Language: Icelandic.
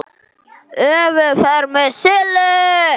ÖKUFERÐ MEÐ SILLU